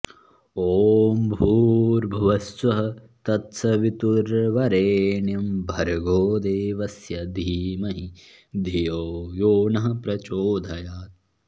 ॐ भूर्भुवः स्वः तत्सवितुर्वरेण्यं भर्गोदेवस्य धीमहि धियो यो नः प्रचोदयात्